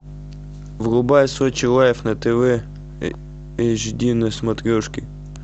врубай сочи лайф на тв эйч ди на смотрешке